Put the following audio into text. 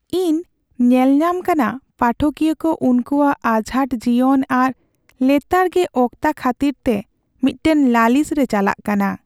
ᱤᱧ ᱧᱮᱞᱧᱟᱢ ᱠᱟᱱᱟ ᱯᱟᱴᱷᱚᱠᱤᱭᱟᱹ ᱠᱚ ᱩᱱᱠᱩᱣᱟᱜ ᱟᱡᱷᱟᱴ ᱡᱤᱭᱚᱱ ᱟᱨ ᱞᱮᱛᱟᱲᱜᱮ ᱚᱠᱛᱟ ᱠᱷᱟᱹᱛᱤᱨᱛᱮ ᱢᱤᱫᱴᱟᱝ ᱞᱟᱹᱞᱤᱥ ᱨᱮ ᱪᱟᱞᱟᱜ ᱠᱟᱱᱟ ᱾